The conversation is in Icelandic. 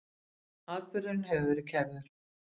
Atburðurinn hefur verið kærður.